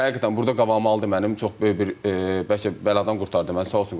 Həqiqətən burda qabağımı aldı mənim, çox böyük bir bəlkə bəladan qurtardı məni, sağ olsun Qurban müəllim.